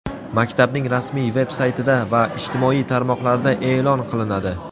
maktabning rasmiy veb-saytida va ijtimoiy tarmoqlarda e’lon qilinadi.